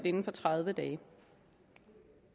inden for tredive dage